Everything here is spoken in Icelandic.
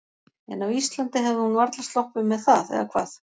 En á Íslandi hefði hún varla sloppið með það, eða hvað?